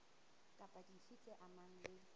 kapa dife tse amanang le